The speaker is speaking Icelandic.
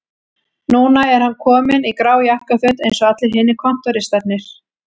Núna er hann kominn í grá jakkaföt eins og allir hinir kontóristarnir